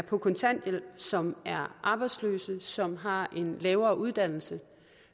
på kontanthjælp som er arbejdsløse som har en lavere uddannelse